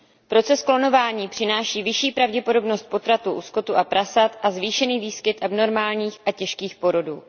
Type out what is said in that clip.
Proces klonování přináší vyšší pravděpodobnost potratů u skotu a prasat a zvýšený výskyt abnormálních a těžkých porodů.